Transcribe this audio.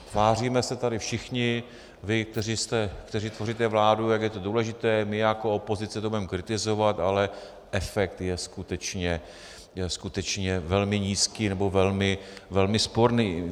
Tváříme se tady všichni - vy, kteří tvoříte vládu, jak je to důležité, my jako opozice to budeme kritizovat, ale efekt je skutečně velmi nízký nebo velmi sporný.